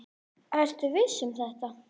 Ertu viss um þetta?